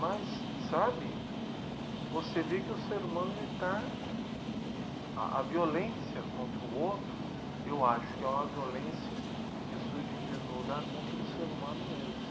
Mas, sabe, você vê que o ser humano está... A violência contra o outro, eu acho que é uma violência que surge em primeiro lugar contra o ser humano mesmo.